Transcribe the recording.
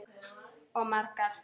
Og margar.